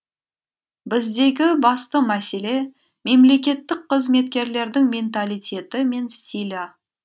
біздегі басты мәселе мемлекеттік қызметкерлердің менталитеті мен стилі